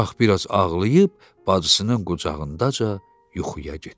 Uşaq bir az ağlayıb bacısının qucağındaca yuxuya getdi.